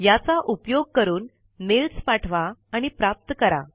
या चा उपयोग करून मेल्स पाठवा आणि प्राप्त करा